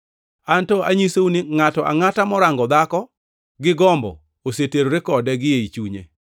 Anto anyisou ni ngʼato angʼata morango dhako gi gombo oseterore kode gi ei chunye.